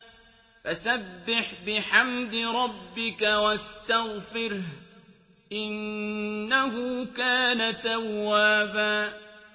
فَسَبِّحْ بِحَمْدِ رَبِّكَ وَاسْتَغْفِرْهُ ۚ إِنَّهُ كَانَ تَوَّابًا